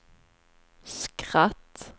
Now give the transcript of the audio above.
skratt